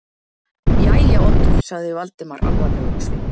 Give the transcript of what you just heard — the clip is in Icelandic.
Jæja, Oddur- sagði Valdimar alvarlegur á svip.